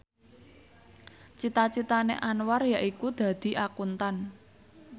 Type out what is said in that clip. cita citane Anwar yaiku dadi Akuntan